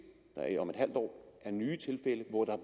der om et halvt år er nye tilfælde hvor der